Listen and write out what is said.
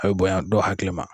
A bi bonya dɔw hakili ma.